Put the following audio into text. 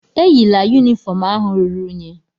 Eyila yunifọọm ahụ ruru unyi.